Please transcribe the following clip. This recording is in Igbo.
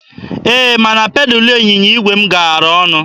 Ee, mana pedalụ ịnyịnya igwe m gaara ọnụ.